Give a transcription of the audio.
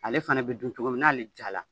Ale fana bɛ dun cogo min n'ale jala